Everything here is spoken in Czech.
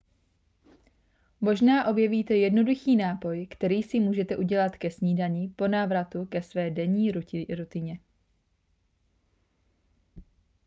možná objevíte jednoduchý nápoj který si můžete udělat k snídani po návratu ke své denní rutině